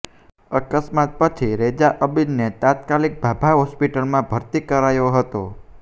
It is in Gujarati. અકસ્માત પછી રેઝા અબીદને તાત્કાલિક ભાભા હોસ્પિટલમાં ભરતી કરાયો હતો